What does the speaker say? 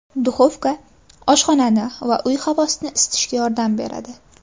Duxovka oshxonani va uy havosini isitishga yordam beradi.